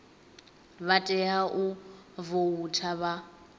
vha tea u voutha vha